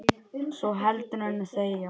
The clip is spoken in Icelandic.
svo heldur en þegja